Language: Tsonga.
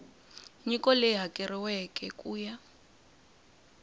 nyiko leyi hakeriweke ku ya